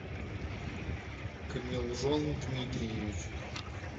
комилжон дмитриевич